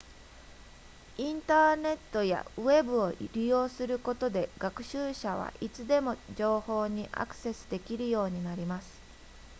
インターネットやウェブを利用することで学習者はいつでも情報にアクセスできるようになります